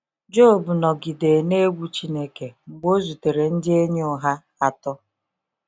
Job nọgide na egwu Chineke mgbe o zutere ndị enyi ụgha atọ.